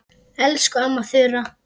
Elsku amma Þura.